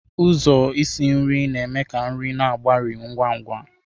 Ụzọ isi nri na-eme ka nri na-agbari ngwa ngwa.